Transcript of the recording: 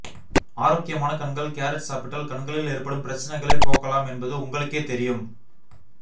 ஆரோக்கியமான கண்கள் கேரட் சாப்பிட்டால் கண்களில் ஏற்படும் பிரச்சனைகளைப் போக்கலாம் என்பது உங்களுக்கே தெரியும்